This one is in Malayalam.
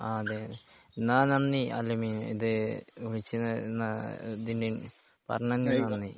ആ അതെ അതെ എന്നാ നന്ദി അൽ അമീൻ ഇത് വിളിച്ചത് നാ ഇതിന് പറഞ്ഞുതന്നതിന് നന്ദി.